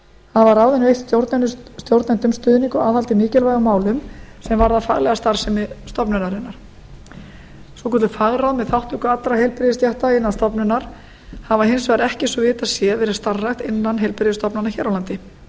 hafa ráðin veitt stjórnendum stuðning og aðhald í mikilvægum málum sem varða faglega starfsemi stofnunarinnar svokölluð fagráð með þátttöku allra heilbrigðisstétta innan stofnunar hafa hins vegar ekki svo vitað sé verið starfrækt innan heilbrigðisstofnana hér á landi